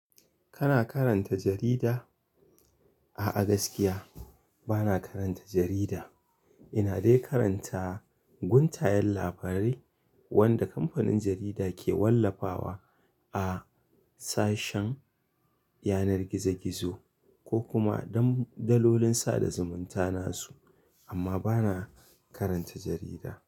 Kana karanta jarida? A'a gaskiya bana karanta jarida. Ina dai karanta guntayen labarai wanda kamfanin jarida ke wallafawa a sashen yanar gizo gizo ko kuma dalolin sada zumunta na. Amma bana karanta jarida.